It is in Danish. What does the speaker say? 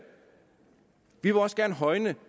vi vil også gerne højne